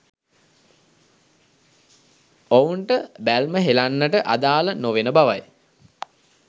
ඔවුන්ට බැල්ම හෙළන්නට අදාළ නෙවෙන බවයි.